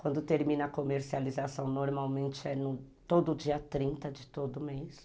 Quando termina a comercialização, normalmente é todo dia trinta de todo mês.